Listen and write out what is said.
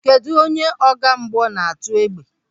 Kedụ onye ọgbamgbọ na-atụ égbè?